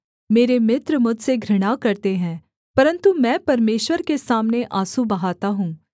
मेरे मित्र मुझसे घृणा करते हैं परन्तु मैं परमेश्वर के सामने आँसू बहाता हूँ